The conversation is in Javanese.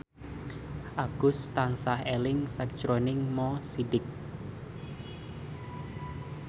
Agus tansah eling sakjroning Mo Sidik